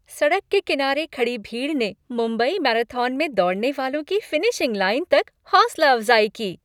सड़क के किनारे खड़ी भीड़ ने मुंबई मैराथन में दौड़ने वालों की फिनिशिंग लाइन तक हौसला अफज़ाई की।